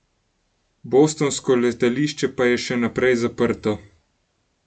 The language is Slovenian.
Bostonsko letališče pa je še naprej zaprto.